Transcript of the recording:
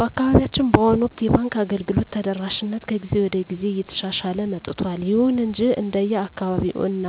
በአካባቢያችን በአሁኑ ወቅት የባንክ አገልግሎት ተደራሽነት ከጊዜ ወደ ጊዜ እየተሻሻለ መጥቷል። ይሁን እንጂ እንደየአካባቢው እና